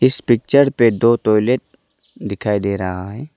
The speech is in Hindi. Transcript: इस पिक्चर पे दो टॉयलेट दिखाई दे रहा है।